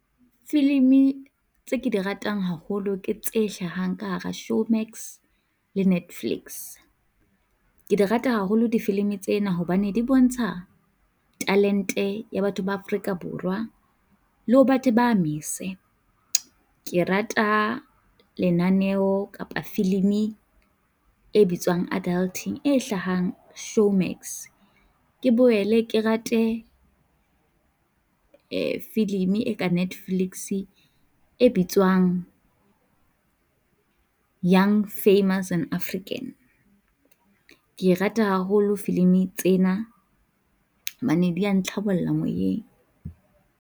Filimi tse ke di ratang haholo, ke tse hlahang ka hara Showmax le Netflix. Ke rata haholo difilimi tsena hobane di bontsha talente ya batho ba Afrika Borwa le ho batho ba mese. Ke rata lenaneo kapa filimi e bitswang Adulting e hlahang Showmax, ke boele ke rate filimi e ka Netflix e bitswang Young, famous and African. Ke rata haholo filimi tsena hobane di a ntlhabolla moyeng.